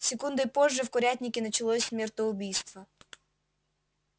секундой позже в курятнике началось смертоубийство